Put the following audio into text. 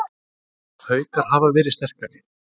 Haukar hafa verið sterkari